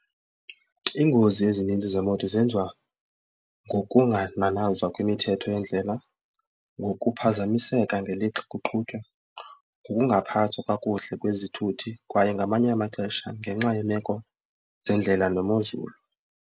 Iingozi ezininzi zemoto zenziwa ngokungananazwa kwemithetho yeendlela, ngokuphazamiseka ngelixa kuqhutywa, ngokungaphathwa kakuhle kwezithuthi kwaye ngamanye amaxesha ngenxa yemeko zeendlela nemozulu.